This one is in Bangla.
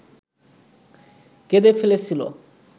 কেঁদে ফেলেছিল